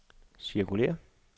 cirkulér